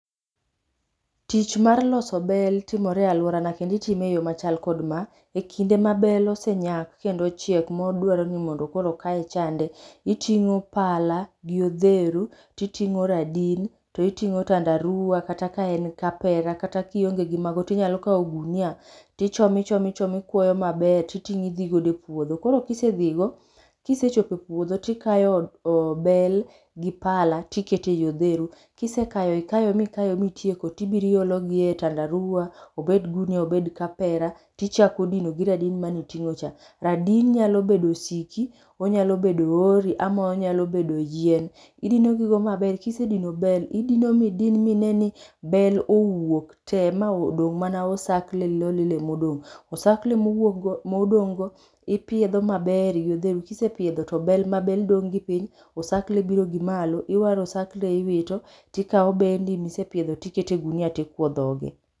Tich mar loso bel timore e aluora na kendo itime e yo machal kod ma. Kinde ma bel osechiek modwaro ni mondo koro kaye chande, iting'o pala gi odheru to iting'o radin. To iting'o tandaruwa kata ka en kapera, kionge mago to inyalo kawo gunia., to ichomo ichomo ichomo to ikwoyo maber. To iting'o idhi go epuodho koro ka ise dhigo, ka isechopo e puodho to ikayo bel gi pala, to iketo ei odheru. Ka isekayo gi ma itieko to ibiro iologi e tandaruwa. Obed gunia, obed kapera, to ichako dino gi radin mane iting'o cha. Radin nyalo bedo osiki, onyalo bedo ohori ama onyalo bedo yien. Idino gi go maber, kisedino bel, idino midin mine ni bel owuok tee ma odong' mana oskle lilo ema odong'. Osakle mowuok go modong'go ipiedho maber maber gi odheru. Ka isepiedho ma bel dong' gi to osakle biro gi malo, to iwaro osakle iwito to ikawo bendi misepiedho to iketo e ogunia to ikwoyo dhoge.